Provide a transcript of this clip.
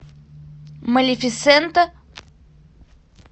малефисента